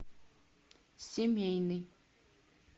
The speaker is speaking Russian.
семейный